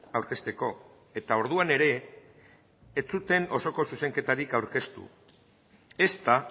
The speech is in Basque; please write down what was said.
aurkezteko eta orduan ere ez zuten osoko zuzenketarik aurkeztu ezta